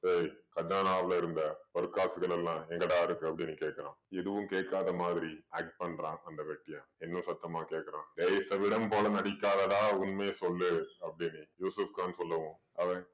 டேய் கஜானாவுல இருந்த பொற்காசுகளெல்லாம் எங்கடா இருக்கு அப்படீன்னு கேக்குறான். எதுவும் கேக்காத மாதிரி act பண்றான் அந்த வெட்டியான். இன்னும் சத்தமா கேக்குறான். டேய் செவிடன் போல நடிக்காதடா உண்மைய சொல்லு அப்படீன்னு யூசுஃப் கான் சொல்லவும் அவன்